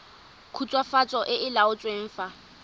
khutswafatso e e laotsweng fa